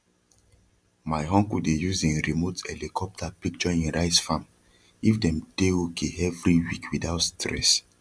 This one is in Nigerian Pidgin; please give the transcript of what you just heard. my uncle dey use him remote helicopter picture him rice farm if dem dey okay every week without stress